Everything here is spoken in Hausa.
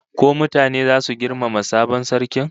Ko mutane zasu girmama sabon sarkin?